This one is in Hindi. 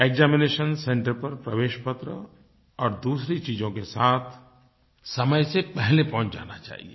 एक्जामिनेशन सेंटर पर प्रवेशपत्र और दूसरी चीजों के साथ समय से पहले पहुँच जाना चाहिए